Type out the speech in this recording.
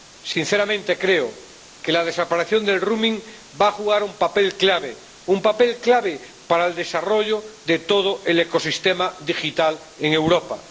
Sinceramente, creo que la desaparición del roaming va a jugar un papel clave, un papel clave para el desarrollo de todo el ecosistema digital en Europa.